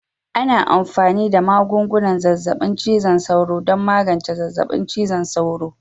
Ana amfani da magungunan zazzabin cizon sauro don magance zazzabin cizon sauro